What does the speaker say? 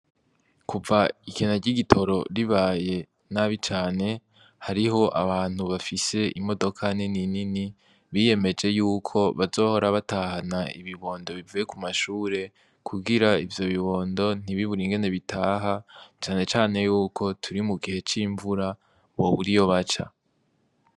Kuva ikena ry'igitoro ribaye nabi cane hariho abantu bafise imodoka nini nini biyemeje yuko bazohora batahana ibibondo bivuye ku mashure ,kugira ivyo bibondo ntibibure ingene bitaha cane cane yuko turi mu gihe c'imvura bobura iyo baca.